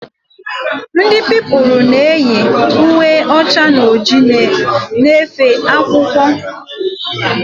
Ndị Pupilụ na eyi uwe ọcha na ojii na efe akwụkwọ